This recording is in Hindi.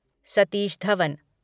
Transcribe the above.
सतीश धवन